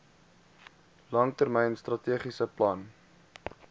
langtermyn strategiese plan